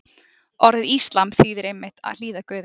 Orðið íslam þýðir einmitt að hlýða Guði.